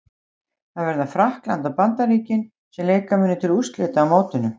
Það verða Frakkland og Bandaríkin sem leika munu til úrslita á mótinu.